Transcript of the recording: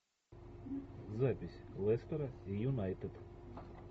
запись лестера и юнайтед